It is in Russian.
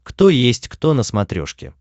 кто есть кто на смотрешке